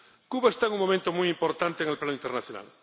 Cuba está en un momento muy importante en el plano internacional.